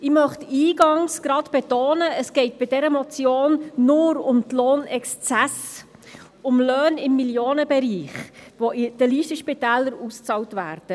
Ich möchte gleich eingangs betonen, dass es in dieser Motion nur um die Lohnexzesse geht, um Löhne im Millionenbereich, die in Listenspitälern bezahlt werden.